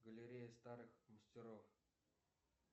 галерея старых мастеров